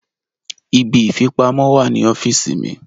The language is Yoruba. Ibi ìfipamọ́ wà ní ọ́fíìsì mi.